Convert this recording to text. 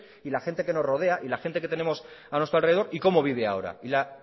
y la gente que nos rodea y la gente que tenemos a nuestro alrededor y cómo vive ahora y la